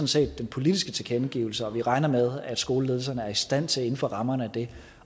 set er den politiske tilkendegivelse og at vi regner med at skoleledelserne er i stand til inden for rammerne af det